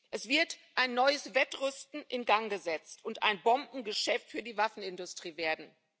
Es wird ein neues Wettrüsten in Gang gesetzt und ein Bombengeschäft für die Waffenindustrie werden.